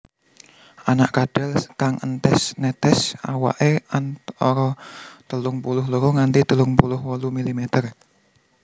Anak kadal kang entes netes awake antara telung puluh loro nganti telung puluh wolu milimeter